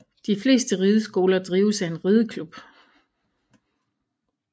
De fleste rideskoler drives af en rideklub